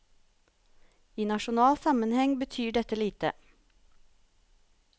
I nasjonal sammenheng betyr dette lite.